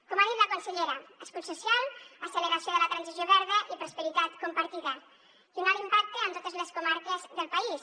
com ha dit la consellera escut social acceleració de la transició verda i prosperitat compartida i un alt impacte en totes les comarques del país